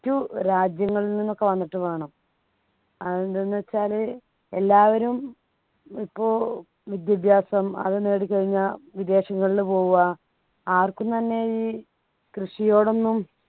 മറ്റു രാജ്യങ്ങളിൽ നിന്നൊക്കെ വന്നിട്ട് വേണം അതെന്തെന്ന് വെച്ചാൽ എല്ലാവരും ഇപ്പോൾ വിദ്യാഭ്യാസം അത് നേടിക്കഴിഞ്ഞാൽ വിദേശങ്ങളിൽ പോവുക ആർക്കും തന്നെ ഈ കൃഷിയോടൊന്നും